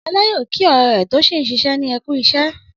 Ọlá yóò kí ọ̀rẹ́ rẹ̀ tó ṣì ń ṣiṣẹ́ ní Ẹ kú iṣẹ́.